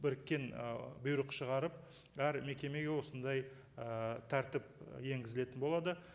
біріккен ы бұйрық шығарып әр мекемеге осындай ыыы тәртіп енгізілетін болады